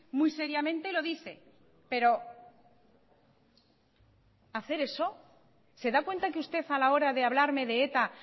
muy seriamente lo dice pero hacer eso se da cuenta que usted a la hora de hablarme de eta